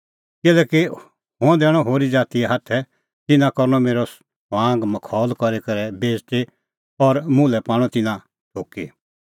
किल्हैकि हुंह दैणअ होरी ज़ातीए हाथै तिन्नां करनअ मेरअ ठठअ मखौल करी करै बेइज़ती और मुल्है पाणअ तिन्नां थुकी